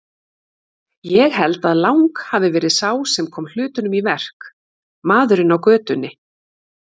Ég held að Lang hafi verið sá sem kom hlutunum í verk, maðurinn á götunni.